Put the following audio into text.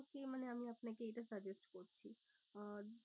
মানে আমি আপনাকে এইটা suggest করছি। আহ